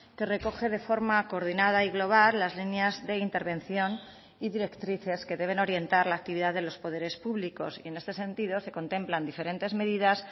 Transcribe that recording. que recoge de forma coordinada y global las líneas de intervención y directrices que deben orientar la actividad de los poderes públicos y en este sentido se contemplan diferentes medidas